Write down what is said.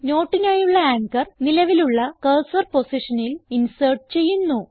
noteനായുള്ള anchor നിലവിലുള്ള cursor പൊസിഷനിൽ insert ചെയ്യുന്നു